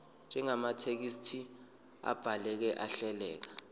njengamathekisthi abhaleke ahleleka